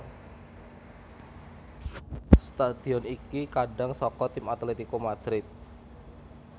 Stadion iki kandhang saka tim Atletico Madrid